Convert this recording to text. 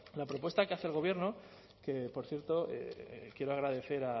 la propuesta que hace el gobierno que por cierto quiero agradecer